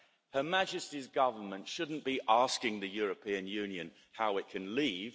Her Majesty's government shouldn't be asking the European Union how it can leave